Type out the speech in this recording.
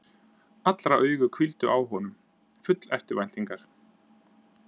Allra augu hvíldu á honum, full eftirvæntingar.